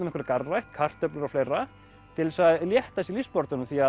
einhverja garðrækt kartöflur og fleira til þess að létta sér lífsbaráttuna því